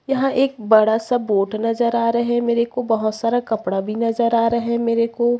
यहाँ एक बड़ा सा बोर्ड नज़र आ रहे मेरे को बहोत सारा कपड़ा भी नज़र आ रहा है मेरे को --